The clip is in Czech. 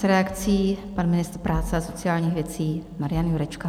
S reakcí pan ministr práce a sociálních věcí Marian Jurečka.